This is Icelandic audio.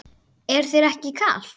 Er þér ekki kalt?